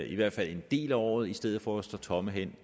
i hvert fald en del af året i stedet for at stå tomme hele